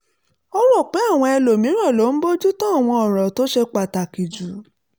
ó rò pé àwọn ẹlòmíràn ló ń bójú tó àwọn ọ̀ràn tó ṣe pàtàkì jù